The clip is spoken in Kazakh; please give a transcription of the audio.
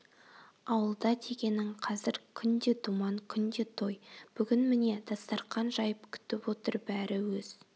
ауылда дегенің қазір күнде думан күнде той бүгін міне дастархан жайып күтіп отыр бәрі өз